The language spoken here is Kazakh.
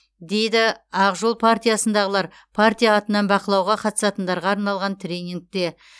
дейді ақ жол партиясындағылар партия атынан бақылауға қатысатындарға арналған тренингте